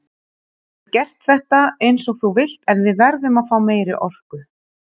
Þú getur gert þetta eins og þú vilt en við verðum að fá meiri orku.